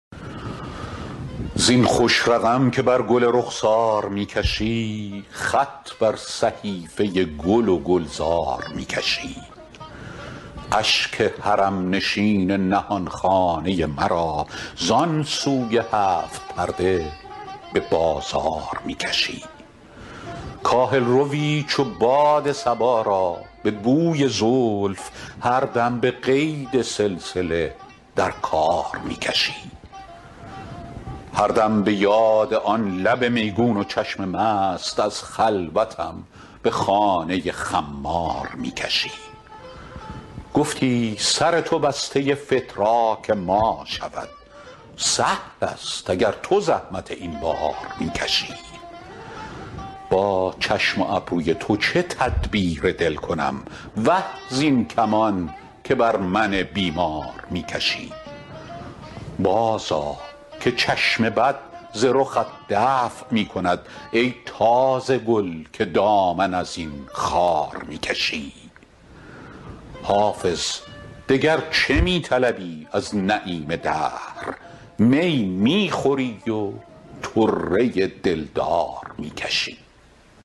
زین خوش رقم که بر گل رخسار می کشی خط بر صحیفه گل و گلزار می کشی اشک حرم نشین نهان خانه مرا زان سوی هفت پرده به بازار می کشی کاهل روی چو باد صبا را به بوی زلف هر دم به قید سلسله در کار می کشی هر دم به یاد آن لب میگون و چشم مست از خلوتم به خانه خمار می کشی گفتی سر تو بسته فتراک ما شود سهل است اگر تو زحمت این بار می کشی با چشم و ابروی تو چه تدبیر دل کنم وه زین کمان که بر من بیمار می کشی بازآ که چشم بد ز رخت دفع می کند ای تازه گل که دامن از این خار می کشی حافظ دگر چه می طلبی از نعیم دهر می می خوری و طره دلدار می کشی